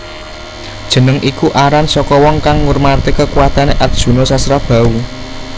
Jeneng iku aran saka wong kang ngurmati kekuwatane Arjuna Sasrabahu